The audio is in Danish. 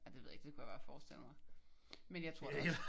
Ja det ved jeg ikke. Det kunne jeg bare forestille mig men jeg tror da også